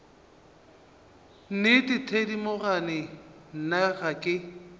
nnete thedimogane nna ga ke